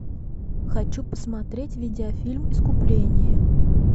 хочу посмотреть видеофильм искупление